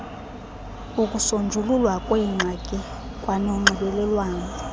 ukusonjululwa kweengxaki kwanonxibelelwano